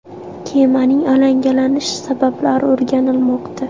Kemaning alangalanish sabablari o‘rganilmoqda.